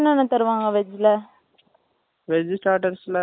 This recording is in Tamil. veg starters ல நாங்க veg யே try பண்ணலியே non veg தான எல்லாமே